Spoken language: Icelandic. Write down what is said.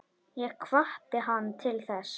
Ég hvatti hann til þess.